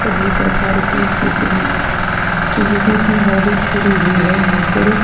सभी परकार की स्विफ्ट डी सुज़ुकु की गाड़ी खड़ी हुई है यहाँ पर।